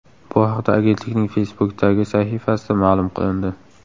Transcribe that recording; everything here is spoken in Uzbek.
Bu haqda agentlikning Facebook’dagi sahifasida ma’lum qilindi .